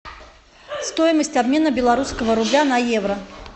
стоимость обмена белорусского рубля на евро